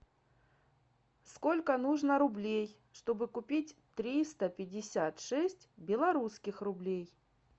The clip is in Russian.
сколько нужно рублей чтобы купить триста пятьдесят шесть белорусских рублей